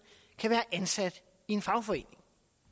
kan være ansat i en fagforening